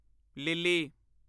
Lily